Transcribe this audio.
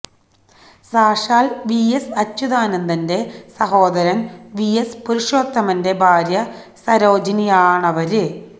സാക്ഷാല് V S അച്യുതാനന്ദന്റെ സഹോദരന് V S പുരുഷോത്തമന്റെ ഭാര്യ സരോജിനിയാണവര്